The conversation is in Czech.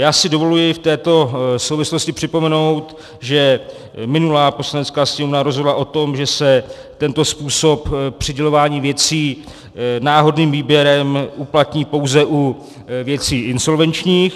Já si dovoluji v této souvislosti připomenout, že minulá Poslanecká sněmovna rozhodla o tom, že se tento způsob přidělování věcí náhodným výběrem uplatní pouze u věcí insolvenčních.